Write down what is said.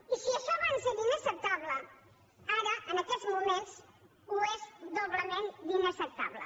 i si això abans era inacceptable ara en aquests moments ho és doblement d’inacceptable